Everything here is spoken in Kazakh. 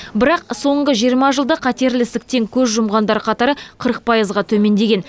бірақ соңғы жиырма жылда қатерлі ісіктен көз жұмғандар қатары қырық пайызға төмендеген